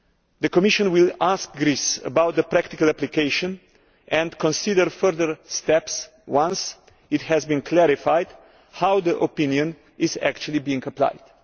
The Commission will ask Greece about the practical application and consider further steps once it has been clarified how the opinion is actually being applied.